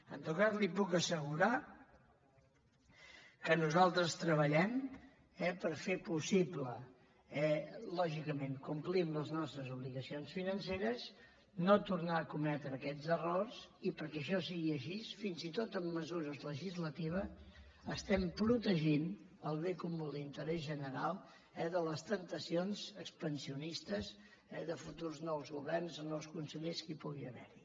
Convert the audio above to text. en tot cas li puc assegurar que nosaltres treballem per fer possible lògicament complint les nostres obligacions financeres no tornar a cometre aquests errors i perquè això sigui així fins i tot amb mesures legislatives estem protegint el bé comú l’interès general de les temptacions expansionistes de futurs nous governs de nous consellers que pugui haver hi